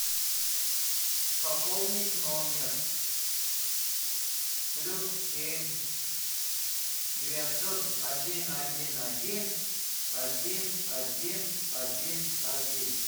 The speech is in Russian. пополнить номер плюс семь девятьсот один один один один один один один